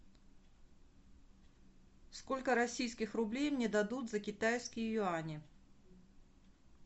сколько российских рублей мне дадут за китайские юани